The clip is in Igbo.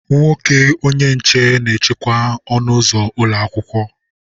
Nwoke onye nche na eche ọnụ ụzọ ụlọ akwụkwọ.